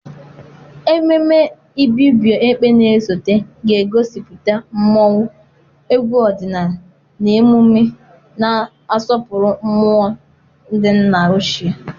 Ememme Ibibio Ekpe na-esote ga-egosipụta mmọnwụ, egwu ọdịnala, na emume na-asọpụrụ mmụọ ndị nna ochie.